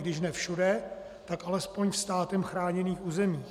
Když ne všude, tak alespoň ve státem chráněných územích.